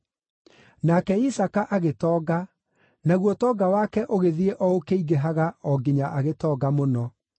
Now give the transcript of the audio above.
Nake Isaaka agĩtonga, naguo ũtonga wake ũgĩthiĩ o ũkĩingĩhaga o nginya agĩtonga mũno.